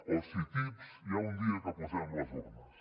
o si tips hi ha un dia que posem les urnes